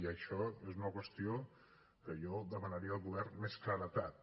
i això és una qüestió que jo demanaria al govern més claredat